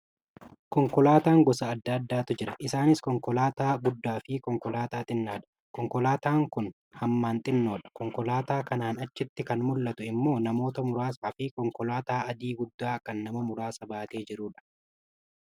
Konkolaataan gosa adda addaatu jira. Isaanis konkolaataa guddaa fi konkolaataa xinnaadha. Konkolaataan kun hamman xinnoodha. Konkolaataa kanaan achitti kan mul'atu immoo namoota muraasaa fi konkolaataa adii guddaa kan nama muraasa baatee jirudha.